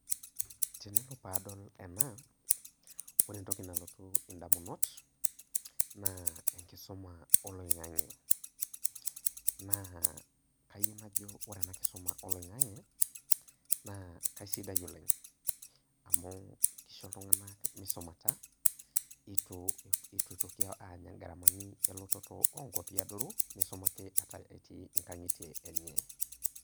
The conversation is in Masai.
Tenelo padol ena, ore entoki nalotu indamunot, naa enkisuma oloing'ang'e. Naa kayieu najo ore ena kisuma oloing'ang'e, naa kasidai oleng. Amu kisho iltung'anak misumata, itu itoki anya garamani elototo enkwapi adoru, nisulaki etii inkang'itie enye.